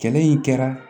Kɛlɛ in kɛra